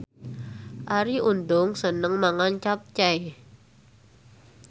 Arie Untung seneng mangan capcay